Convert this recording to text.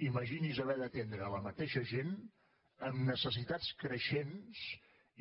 imagini’s haver d’atendre la mateixa gent amb necessitats creixents